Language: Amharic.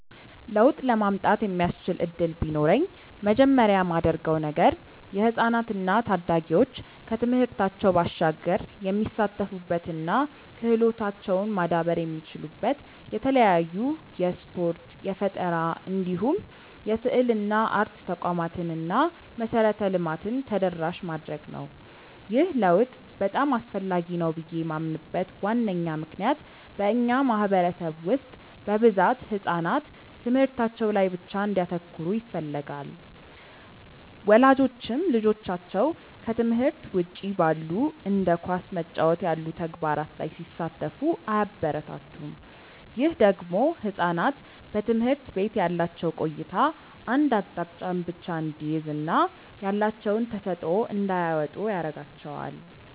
ለውጥ ለማምጣት የሚያስችል እድል ቢኖረኝ መጀመሪያ ማደርገው ነገር የህፃናት እና ታዳጊዎች ከትምህርታቸው ባሻገር የሚሳተፉበት እና ክህሎታቸውም ማዳበር የሚችሉበት የተለያዩ የስፖርት፣ የፈጠራ እንዲሁም የስዕልና አርት ተቋማትን እና መሰረተ ልማትን ተደራሽ ማድረግ ነው። ይህ ለውጥ በጣም አስፈላጊ ነው ብዬ ማምንበት ዋነኛ ምክንያት በእኛ ማህበረሰብ ውስጥ በብዛት ህጻናት ትምህርታቸው ላይ ብቻ እንዲያተኩሩ ይፈለጋል። ወላጆችም ልጆቻቸው ከትምህርት ውጪ ባሉ እንደ ኳስ መጫወት ያሉ ተግባራት ላይ ሲሳተፉ አያበረታቱም። ይህ ደግሞ ህጻናት በትምህርት ቤት ያላቸው ቆይታ አንድ አቅጣጫን ብቻ እንዲይዝ እና ያላቸውን ተሰጥዖ እንዳያወጡ ያረጋቸዋል።